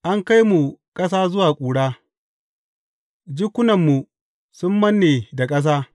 An kai mu ƙasa zuwa ƙura; jikunanmu sun manne da ƙasa.